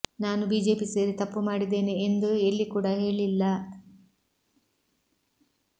ನಾನು ಬಿಜೆಪಿ ಸೇರಿ ತಪ್ಪು ಮಾಡಿದ್ದೇನೆ ಎಂದು ಎಲ್ಲಿ ಕೂಡ ಹೇಳಿಲ್ಲ